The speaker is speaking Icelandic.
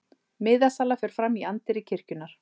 Miðasala fer fram í anddyri kirkjunnar